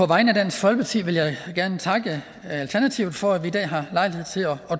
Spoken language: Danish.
vegne af dansk folkeparti vil jeg gerne takke alternativet for at vi i dag har lejlighed til at